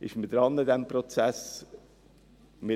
Man hat mit diesem Prozess begonnen.